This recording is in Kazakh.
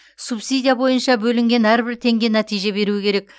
субсидия бойынша бөлінген әрбір теңге нәтиже беруі керек